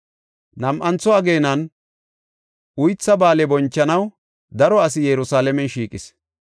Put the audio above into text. Nam7antho ageenan Uytha Ba7aale bonchanaw daro asi Yerusalaamen shiiqis.